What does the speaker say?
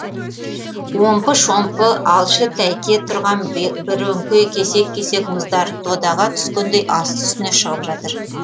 омпы шомпы алшы тәйке тұрған бірөңкей кесек кесек мұздар додаға түскендей асты үстіне шығып жатыр